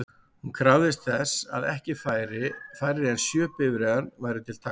Hún krafðist þess að ekki færri en sjö bifreiðar væru til taks.